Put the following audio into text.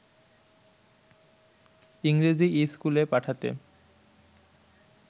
ইংরেজি ইস্কুলে পাঠাতে